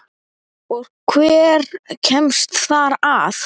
Og hver kemst þar að?